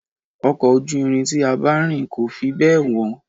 Ọkọ̀ ojú irin tí a bá rìn kò fi bẹ́ẹ̀ wọ̀.